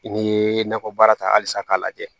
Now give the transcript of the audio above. N'i ye nakɔ baara ta halisa k'a lajɛ